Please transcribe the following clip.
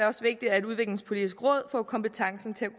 også vigtigt at udviklingspolitisk råd får kompetencen til at